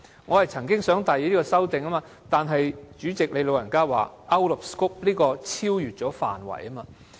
我曾經想提出這項修正案，但主席說修正案是超越了範圍。